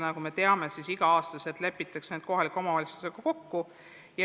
Nagu me teame, siis igal aastal lepitakse need asjad kohaliku omavalitsusega kokku.